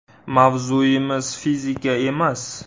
Mavzuimiz fizika emas.